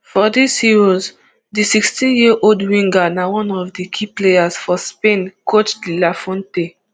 for dis euros di sixteenyearold winger na one of di key players for spain coach de la fuente